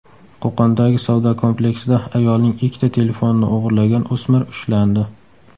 Qo‘qondagi savdo kompleksida ayolning ikkita telefonini o‘g‘irlagan o‘smir ushlandi.